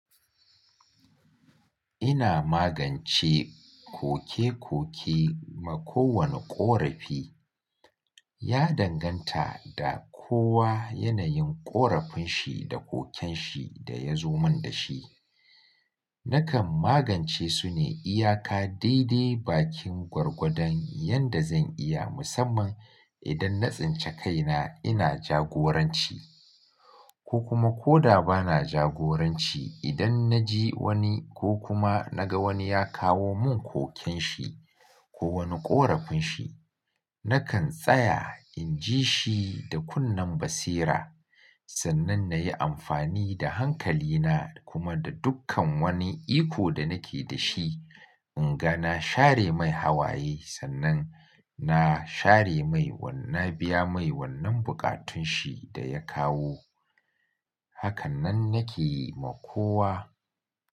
Ina magance kokekoki ma kowane ƙorafi. Ya danganta da kowa yanayin ƙorafin shi da koken shi da ya zo min da shi. Nakan magance su ne iyaka daidai bakin gwargwadon yadda zan iya musamman idan na tsinci kaina ina jagoranci. Ko kuma ko da ba na jagoranci idan na ji wani ko kuma na ga wani ya kawo mun koken shi ko wani ƙorafin shi, nakan tsaya in ji shi da kunnen basira sannan na yi amfani da hankali na kuma da dukkan wani iko da nake da shi in ga na share mai hawaye sannan na share mai wannan, na biya mai wannan buƙatun shi da ya kawo. Hakanan nake yi ma kowa.